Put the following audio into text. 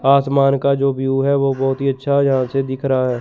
आसमान का जो व्यू है वो बहोत ही अच्छा यहां से दिख रहा है।